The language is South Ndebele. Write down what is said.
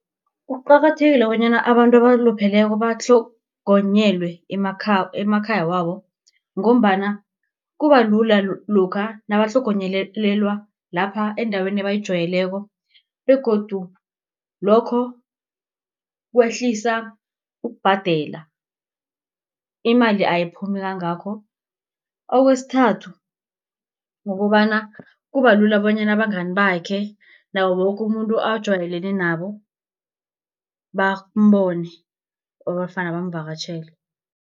Kuqakathekile bonyana abantu abalupheleko batlhogonyelwe emakhaya wabo, ngombana kuba lula lokha nabatlhogonyelelelwa lapha endaweni ebayijayeleko, begodu lokho kwehlisa ukubhadela. Imali ayiphumi kangakho, kwesithathu kukobana, kuba lula bonyana abangani bakhe, nawo woke umuntu ajayelene nabo bambone nofana bamvakatjhele.